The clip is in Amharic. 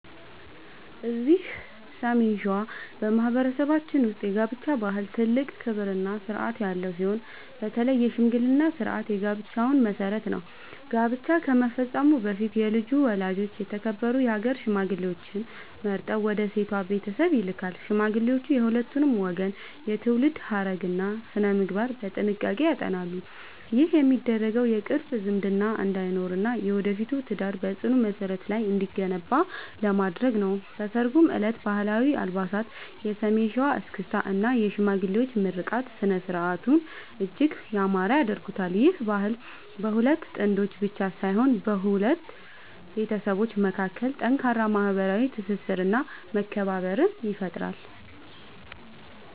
እዚህ ሰሜን ሸዋ በማኅበረሰባችን ውስጥ የጋብቻ ባህል ትልቅ ክብርና ሥርዓት ያለው ሲሆን፣ በተለይ የሽምግልና ሥርዓት የጋብቻው መሠረት ነው። ጋብቻ ከመፈጸሙ በፊት የልጁ ወላጆች የተከበሩ የአገር ሽማግሌዎችን መርጠው ወደ ሴቷ ቤተሰብ ይልካሉ። ሽማግሌዎቹ የሁለቱን ወገን የትውልድ ሐረግና ሥነ-ምግባር በጥንቃቄ ያጠናሉ። ይህ የሚደረገው የቅርብ ዝምድና እንዳይኖርና የወደፊቱ ትዳር በጽኑ መሠረት ላይ እንዲገነባ ለማድረግ ነው። በሠርጉ ዕለትም ባህላዊ አልባሳት፣ የሰሜን ሸዋ እስክስታ እና የሽማግሌዎች ምርቃት ሥነ-ሥርዓቱን እጅግ ያማረ ያደርጉታል። ይህ ባህል በሁለት ጥንዶች ብቻ ሳይሆን በሁለት ቤተሰቦች መካከል ጠንካራ ማኅበራዊ ትስስርና መከባበርን ይፈጥራል።